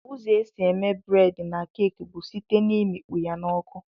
Ụzọ esi eme bred na cake bu site na imikpọya na ọkụ.